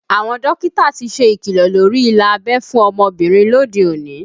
Àwọn dókítà ti ṣe ikilọ lórí ilà abẹ́ fún ọmọbìnrin lóde òní